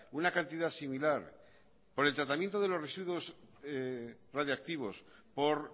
una cantidad similar por el tratamiento de los residuos radiactivos por